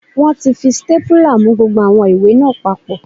Wọ́n ti fi sítépúlà mú gbogbo àwọn ìwé náà papọ̀